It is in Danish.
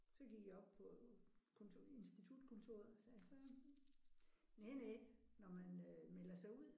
Så gik jeg op på konto institutkontoret og sagde så næ næ når man øh melder sig ud